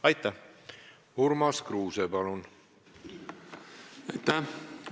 Aitäh, austatud istungi juhataja!